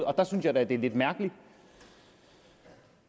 og der synes jeg da det er lidt mærkeligt